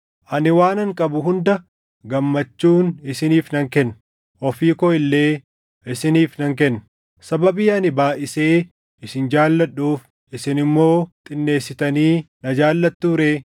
Ani waanan qabu hunda gammachuun isiniif nan kenna; ofii koo illee isiniif nan kenna. Sababii ani baayʼisee isin jaalladhuuf isin immoo xinneessitanii na jaallattuu ree?